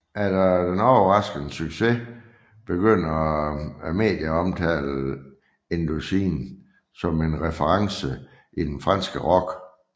Efter den overraskende succes begynder medierne at omtale Indochine som en reference i den franske rock